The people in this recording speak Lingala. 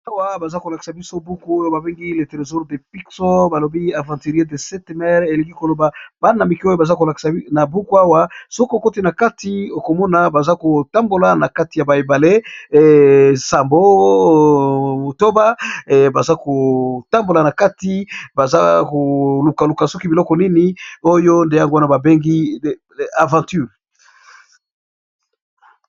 Ba awa baza ko lakisa biso buku oyo ba bengi le tresaure de pixo ba lobi aventurier de 7 maire elingi ko loba bana mike oyo baza ko lakisa na buku awa soki okoti na kati okomona baza kotambola na kati ya ba ebale sa baza kotambola na kati baza koluka luka soki biloko nini oyo nde yango wana ba bengi aventure.